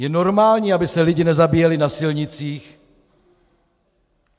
Je normální, aby se lidi nezabíjeli na silnicích?